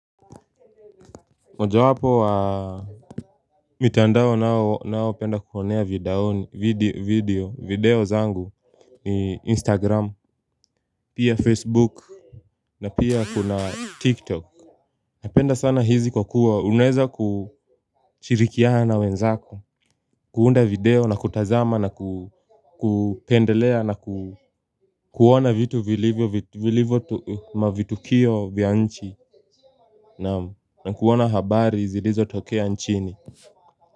Moja wapo wa mitandao nao nao penda kuonea video video zangu ni instagram pia facebook na pia kuna tiktok napenda sana hizi kwa kuwa uneza kuchirikiana na wenzako kuunda video na kutazama na kupendelea na kuona vitu vilivyo mavitukio vya nchi na kuona habari zilizo tokea nchini.